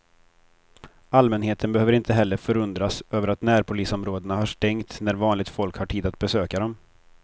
Allmänheten behöver inte heller förundras över att närpolisområdena har stängt när vanligt folk har tid att besöka dem.